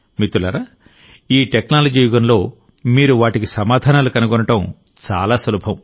మిత్రులారాఈ technology యుగంలోమీరు వాటికి సమాధానాలు కనుగొనడం చాలా సులభం